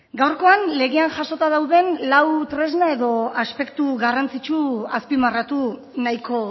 gaurkoan legean jasota dauden lau tresna edo aspektu garrantzitsu azpimarratu nahiko